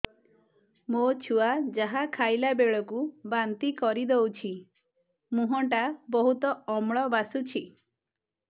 ମୋ ଛୁଆ ଯାହା ଖାଇଲା ବେଳକୁ ବାନ୍ତି କରିଦଉଛି ମୁହଁ ଟା ବହୁତ ଅମ୍ଳ ବାସୁଛି